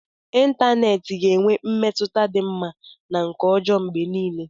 Ịntanetị ga na-enwe mmetụta dị mma na nke ọjọọ mgbe niile